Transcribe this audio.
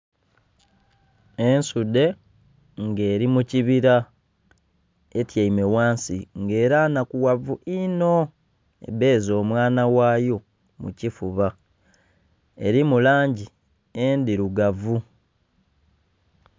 Ensudhe nga eri mukibira etyaime wansi nga era nnhakuwavu ino ebbeze omwana wayo mukifuba erimu langi endhirugavu.